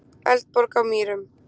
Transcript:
Eldborg á Mýrum.